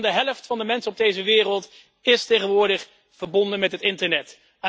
Meer dan de helft van de mensen op deze wereld is tegenwoordig verbonden met het internet.